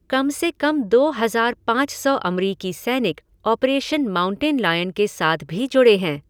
कम से कम दो हज़ार पाँच सौ अमरिकी सैनिक ऑपरेशन माउंटेन लायन के साथ भी जुड़े हैं।